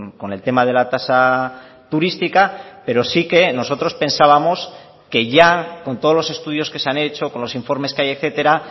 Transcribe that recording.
con el tema de la tasa turística pero sí que nosotros pensábamos que ya con todos los estudios que se han hecho con los informes que hay etcétera